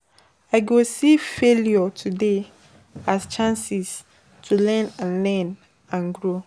I go see failures today as chances to learn and learn and grow.